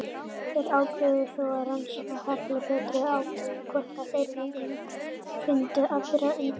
Þeir ákváðu þó að rannsaka hellinn betur og athuga hvort þeir fyndu aðra undankomuleið.